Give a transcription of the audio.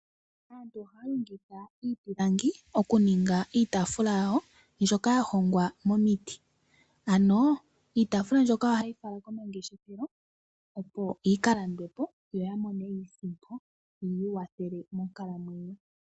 Aantu ohaya longitha iipilangi okuninga iitaafula yawo mbyoka ya hongwa momiti. Ano iitaafula mbyoka ohaya ye yifala komangeshefelo opo yika landwe po yo yamone iisimpo yi ikwathele monkalamwenyo.